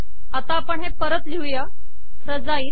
आता परत हे लिहू फ्रजाइल